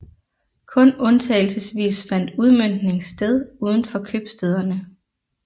Kun undtagelsesvis fandt udmøntning sted uden for købstæderne